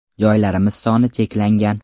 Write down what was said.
Joylarimiz soni cheklangan.